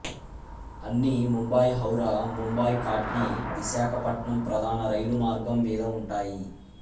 అన్ని ముంబైహౌరా ముంబైకాట్నీవిశాఖపట్నం ప్రధాన రైలు మార్గము మీద ఉంటాయి